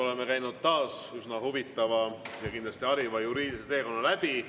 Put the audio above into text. Oleme käinud taas läbi üsna huvitava ja kindlasti hariva juriidilise teekonna.